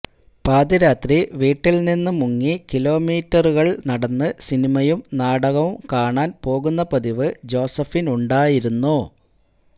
പാതിരാത്രി വീട്ടില് നിന്ന് മുങ്ങി കിലോമീറ്ററുകള് നടന്ന് സിനിമയും നാടകവും കാണാന് പോകുന്ന പതിവ് ജോസഫിനുണ്ടായിരുന്നു